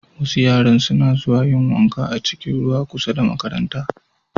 Wasu yaran suna zuwa yin wanka a cikin ruwa kusa da makaranta.